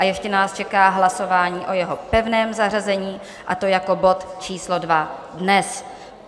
A ještě nás čeká hlasování o jeho pevném zařazení, a to jako bod číslo 2 dnes.